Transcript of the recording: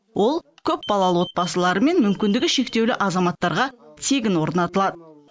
ол көпбалалы отбасылар мен мүмкіндігі шектеулі азаматтарға тегін орнатылады